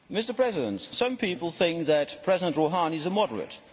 Mr President, some people think that President Rouhani is a moderate.